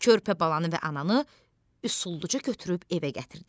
Körpə balanı və ananı usulluca götürüb evə gətirdik.